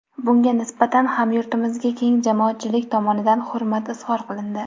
Bunga nisbatan hamyurtimizga keng jamoatchilik tomonidan hurmat izhor qilindi.